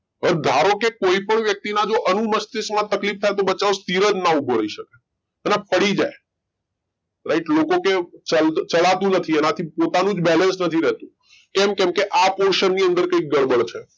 હવે ધારોકે કોઈ પણ વ્યક્તી ના જો અનુમસ્તિષ્ક માં તકલીફ થાય તો બચારો સ્થિર જ ના ઉભો રઈ શકે અલા પડી જાય રાઈટ લોકો કે ચડાતું નથી એનાથી પોતાનું જ balance નથી રહેતુ કેમ? કેમ કે આ portion ની અંદર કઈક ગડબડ છે.